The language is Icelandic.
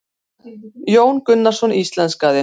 Jón Gunnarsson íslenskaði.